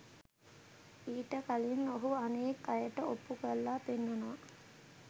ඊට කලින් ඔහු අනෙක් අයට ඔප්පු කරලා පෙන්වනවා